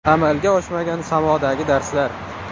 Amalga oshmagan samodagi darslar.